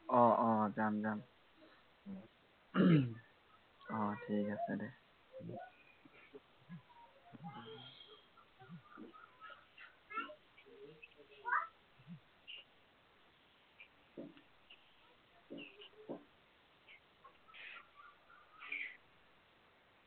অঅ যাম যাম অ ঠিক আছে দে